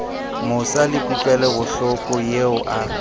mosa le kutlwelobohloko eo a